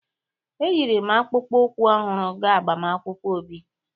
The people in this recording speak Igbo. Eyiri m akpụkpọ ụkwụ ọhụrụ gaa agbamakwụkwọ Obi.